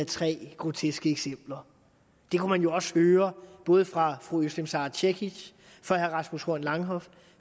tre groteske eksempler det kunne man jo også høre både fra fru özlem sara cekic fra herre rasmus horn langhoff